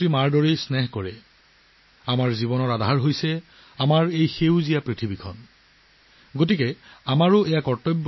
মাতৃ পৃথিৱী আমাৰ জীৱনৰ ভিত্তি গতিকে মাতৃ পৃথিৱীৰ যত্ন লোৱাটোও আমাৰ কৰ্তব্য